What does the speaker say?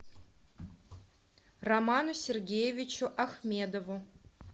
роману сергеевичу ахмедову